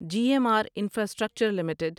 G M R infrastructure limited